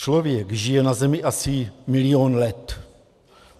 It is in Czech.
Člověk žije na zemi asi milion let.